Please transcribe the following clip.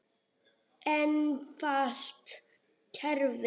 Einfalt kerfi.